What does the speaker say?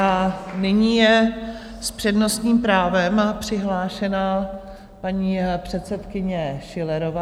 A nyní je s přednostním právem přihlášená paní předsedkyně Schillerová.